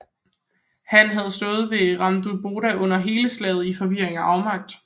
Han havde stået ved Ramundeboda under hele slaget i forvirring og afmagt